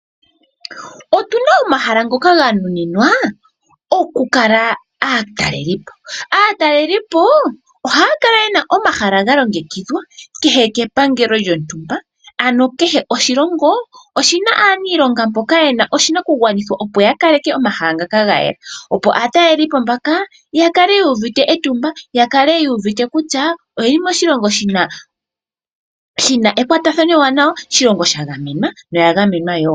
Otuna omahala ngoka ga nuninwa oku kala aataleli po, aataleli po ohaya kala yena omahala ga longekidhwa kehe kepangelo lyontumba, ano kehe oshilongo oshina aaniilonga mboka yena oshinakugwanithwa opo ya kaleke omahala ngaka ga yela, opo aataleli po mbaka ya kale uu uvite etumba ya kale yuuvite kutya oyeli moshilongo shina ekwatathano eewanawa, sha gamenwa Noya gamenwa wo.